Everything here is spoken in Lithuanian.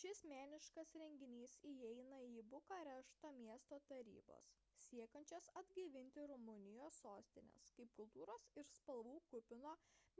šis meniškas renginys įeina į bukarešto miesto tarybos siekiančios atgaivinti rumunijos sostinės kaip kultūros ir spalvų kupino